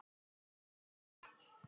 Báta þeirra